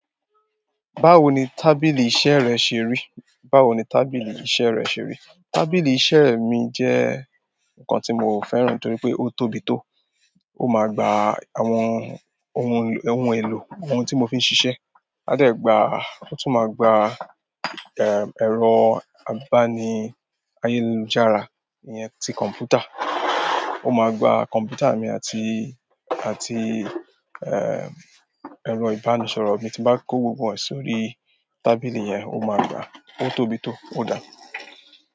Báwo ni tábìlì iṣẹ́ rẹ ṣe rí? Tábìlì iṣẹ́ mi jẹ́ nǹkan tí mo fẹ́ràn torí pé ó tóbi tó. Ó máa gba àwọn ohun, ohun èlò àwọn tí mo fi ń ṣiṣẹ́. Aa dẹ gba, ó tún máa gba, eh, ẹ̀rọ abani--ayelujara iyẹn ti kọ̀m̀pútà. Ó máa gba kọ̀m̀pútà mi àti, àti, eh, ẹ̀rọ ìbánisọ̀rọ̀ mi. Tín bá kó gbogbo ẹ̀ sórí tábìlì yẹn, ó máa gba. Ó tóbi tó, ó dà?